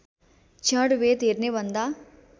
क्षणभेद हेर्ने भन्दा